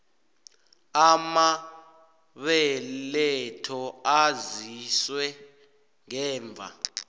amabeletho aziswe ngemva